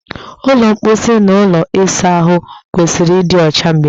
Ụlọ mposi na ụlọ ịsa ahụ kwesịrị ịdị ọcha mgbe niile.